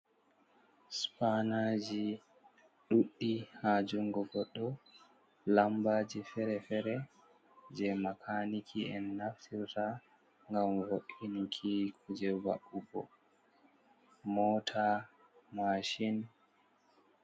Supanaji ɗuɗɗi haa jungo goɗɗo, lambaji feere-feere. Je makaniki en naftirta ngam vo’inki kuje va'ugo. Mota mashin.